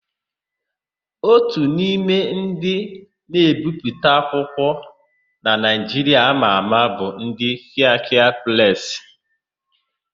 Ótù n'ime ndị na-ebipụta akwụkwọ na Naịjiria ama ama bụ ndị Kịakịa Presị.